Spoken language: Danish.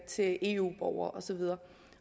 til eu borgere og så videre